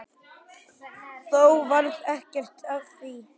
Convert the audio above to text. Þó varð ekkert af því.